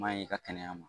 Maɲi i ka kɛnɛya ma